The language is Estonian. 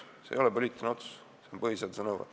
See ei ole poliitiline otsus, see on põhiseaduse nõue.